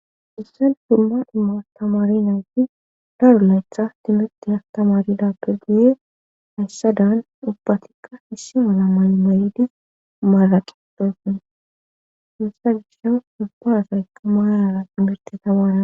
issal dumma immastamari nawuti daru laythas timette astamarida peguye hayssadan ubbatikka hissi mala may mayidis maalaqe posin imssa gisha ubba asaya maalara mirtetamara